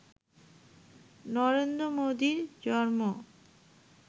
নরেন্দ্র মোদির জন্ম